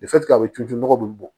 a bɛ turu ju nɔgɔ bɛ bɔ